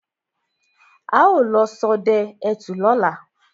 Á ó lọ sodẹ ẹtù lóla